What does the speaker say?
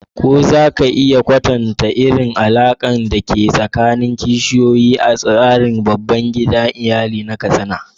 Ko za ka iya kwatanta irin alaƙar da ke tsakanin kishiyoyi a tsarin babban iyali na Katsina?